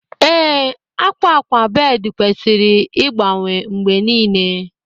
Ee, akwa akwa bed kwesịrị ịgbanwe mgbe niile